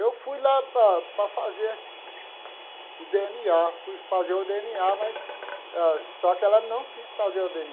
Eu fui lá para para fazer o dê ene á, fui fazer o dê ene á, mas ah só que ela não quis fazer o dê